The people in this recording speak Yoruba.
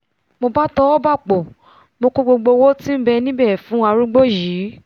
mo bá tọwọ́ b'àpò mo kó gbogbo owó tí nbẹ níbẹ̀ fún arúgbó yìí